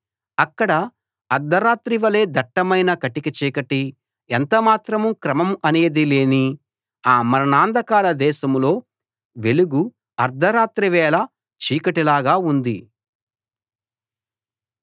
అక్కడ అర్థరాత్రి వలె దట్టమైన కటిక చీకటి ఎంత మాత్రం క్రమం అనేది లేని ఆ మరణాంధకార దేశంలో వెలుగు అర్థరాత్రివేళ చీకటిలాగా ఉంది